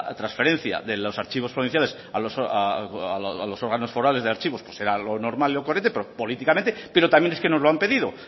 trasferencia de los archivos provinciales a los órganos forales de archivos pues era lo normal y lo correcto pero políticamente pero también es que nos lo han pedido